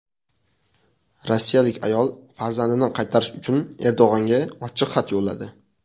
Rossiyalik ayol farzandini qaytarish uchun Erdo‘g‘onga ochiq xat yo‘lladi.